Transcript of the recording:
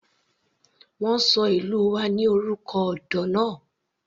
Wọ́n ṣọ ìlú wa ní orúkọ odò náà.